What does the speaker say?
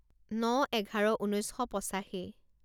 ন এঘাৰ ঊনৈছ শ পঁচাশী